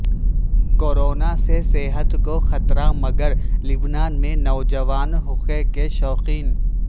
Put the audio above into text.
corona سے صحت کو خطرہ مگر لبنان میں نوجوان حقے کے شوقین